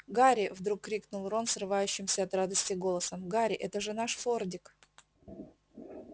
гарри вдруг крикнул рон срывающимся от радости голосом гарри это же наш фордик